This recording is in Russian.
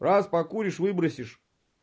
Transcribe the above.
раз покуришь выбросишь